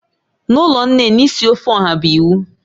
N'ụlọ nne nne, isi ofe oha bụ iwu